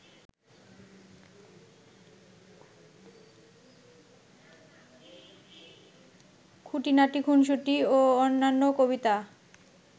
খুটিনাটি খুনশুটি ও অন্যান্য কবিতা